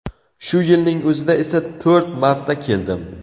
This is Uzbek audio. Shu yilning o‘zida esa to‘rt marta keldim.